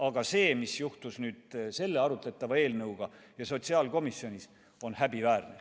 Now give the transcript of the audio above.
Aga see, mis juhtus selle arutletava eelnõuga sotsiaalkomisjonis, on häbiväärne.